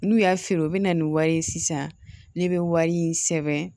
N'u y'a feere u bɛna ni wari ye sisan ne bɛ wari in sɛbɛn